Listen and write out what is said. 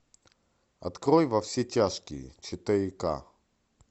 открой во все тяжкие четыре ка